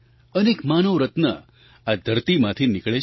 અનેક માનવરત્ન આ ધરતીમાંથી નીકળે છે